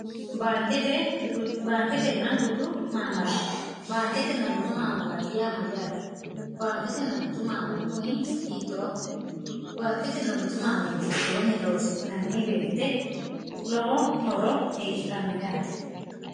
baanketen gtmmrbaanketenna gutu maamaraati yaamayyaati baanketenna gutu maamari kuni hiit0o baanketenna gutu maamari gittoonni loosi'nanni beette lowo horo hiidhanno yaate